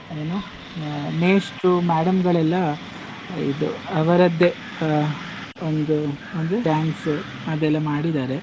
ಏನು ಮೇಷ್ಟ್ರು madam ಗಳೆಲ್ಲ ಇದು ಅವರದ್ದೇ ಅಹ್ ಒಂದು ಒಂದು dance ಅದೆಲ್ಲ ಮಾಡಿದಾರೆ.